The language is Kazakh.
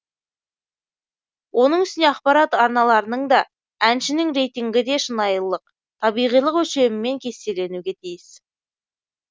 оның үстіне ақпарат арналарының да әншінің рейтингі де шынайылылық табиғилық өлшемімен кестеленуге тиіс